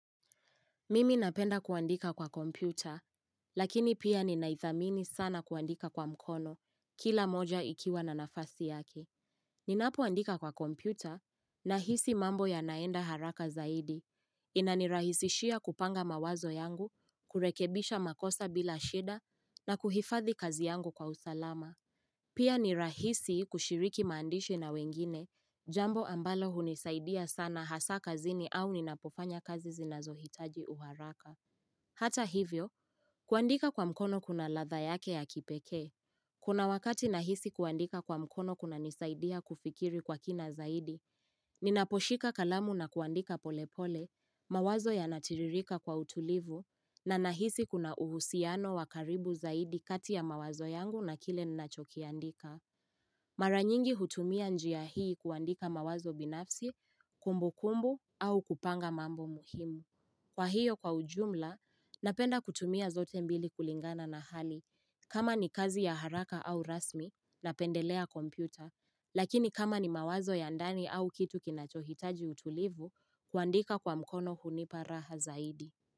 Mimi napenda kuandika kwa kompyuta, lakini pia ninaithamini sana kuandika kwa mkono, kila moja ikiwa na nafasi yake. Ninapoandika kwa kompyuta, na hisi mambo yanaenda haraka zaidi. Inanirahisishia kupanga mawazo yangu, kurekebisha makosa bila shida, na kuhifathi kazi yangu kwa usalama. Pia ni rahisi kushiriki maandishi na wengine, jambo ambalo hunisaidia sana hasa kazini au ninapofanya kazi zinazohitaji uharaka. Hata hivyo, kuandika kwa mkono kuna latha yake ya kipekee. Kuna wakati nahisi kuandika kwa mkono kuna nisaidia kufikiri kwa kina zaidi, ninaposhika kalamu na kuandika pole pole, mawazo ya natiririka kwa utulivu, na nahisi kuna uhusiano wakaribu zaidi kati ya mawazo yangu na kile ninachokiandika Mara nyingi hutumia njia hii kuandika mawazo binafsi, kumbu kumbu au kupanga mambo muhimu Kwa hiyo kwa ujumla, napenda kutumia zote mbili kulingana na hali kama ni kazi ya haraka au rasmi, napendelea kompyuta Lakini kama ni mawazo ya ndani au kitu kinachohitaji utulivu kuandika kwa mkono hunipa raha zaidi.